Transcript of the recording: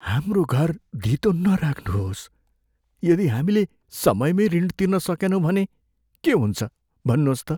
हाम्रो घर धितो नराख्नुहोस्। यदि हामीले समयमै ऋण तिर्न सकेनौँ भने के हुन्छ भन्नुहोस् त?